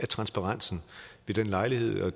transparensen ved den lejlighed og